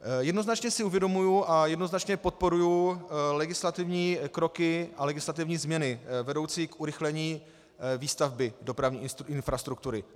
Jednoznačně si uvědomuji a jednoznačně podporuji legislativní kroky a legislativní změny vedoucí k urychlení výstavby dopravní infrastruktury.